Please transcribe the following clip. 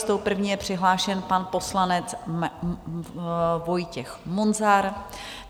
S tou první je přihlášen pan poslanec Vojtěch Munzar.